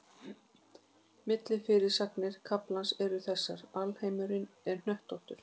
Millifyrirsagnir kaflans eru þessar: Alheimurinn er hnöttóttur.